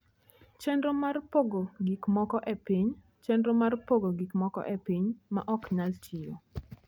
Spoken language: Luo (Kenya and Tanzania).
Chenro mar Pogo Gik Moko e Piny: Chenro mar pogo gik moko e piny ma ok nyal tiyo.